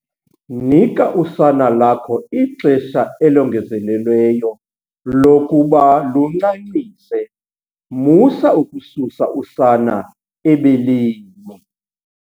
Nika usana lakho ixesha elongezelelweyo lokuba luncancise musa ukususa usana ebeleni.